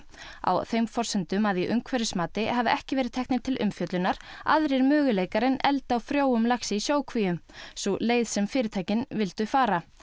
á þeim forsendum að í umhverfismati hafi ekki verið teknir til umfjöllunar aðrir möguleikar en eldi á frjóum laxi í sjókvíum sú leið sem fyrirtækin vildu fara